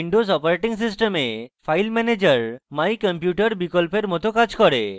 windows operating সিস্টেমে file manager my computer বিকল্পের my কাজ করে